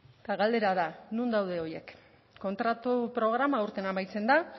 eta galdera da non daude horiek kontratu programa aurten amaitzen da